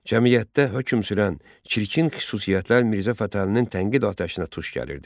Cəmiyyətdə hökm sürən çirkin xüsusiyyətlər Mirzə Fətəlinin tənqid atəşinə tuş gəlirdi.